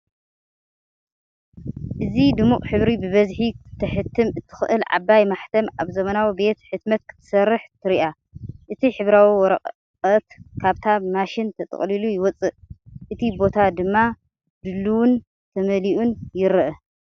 እዚ ድሙቕ ሕብሪ ብብዝሒ ክትሕትም እትኽእል ዓባይ ማሕተም ኣብ ዘመናዊ ቤት ሕትመት ክትሰርሕ ትረአ። እቲ ሕብራዊ ወረቐት ካብታ ማሽን ተጠቕሊሉ ይወጽእ፣ እቲ ቦታ ድማ ድሉውን ተመሊኡን ይረአ።